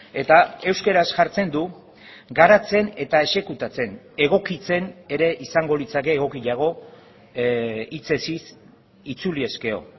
eta euskaraz jartzen du garatzen eta exekutatzen egokitzen ere izango litzake egokiago hitzez hitz itzuli ezkero